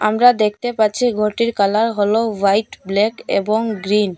আমরা দেখতে পাচ্ছি ঘরটির কালার হল হোয়াইট ব্ল্যাক এবং গ্ৰিন